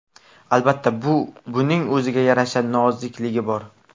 Albatta, buning o‘ziga yarasha nozikligi bor.